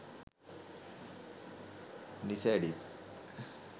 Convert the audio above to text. nisades